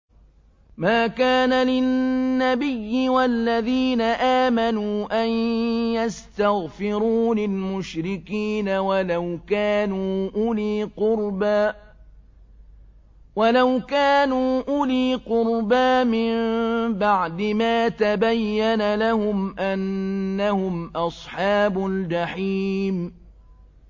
مَا كَانَ لِلنَّبِيِّ وَالَّذِينَ آمَنُوا أَن يَسْتَغْفِرُوا لِلْمُشْرِكِينَ وَلَوْ كَانُوا أُولِي قُرْبَىٰ مِن بَعْدِ مَا تَبَيَّنَ لَهُمْ أَنَّهُمْ أَصْحَابُ الْجَحِيمِ